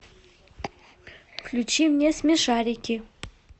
включи мне смешарики